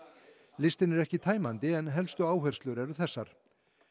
listinn er ekki tæmandi en helstu áherslur eru þessar